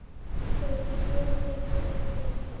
Þau tvö eru góð blanda.